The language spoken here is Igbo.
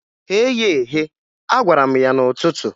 "Ghee ya eghe!" a gwara m ya n'ụtụtụ.